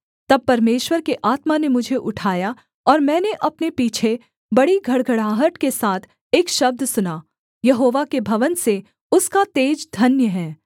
तब परमेश्वर के आत्मा ने मुझे उठाया और मैंने अपने पीछे बड़ी घड़घड़ाहट के साथ एक शब्द सुना यहोवा के भवन से उसका तेज धन्य है